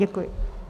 Děkuji.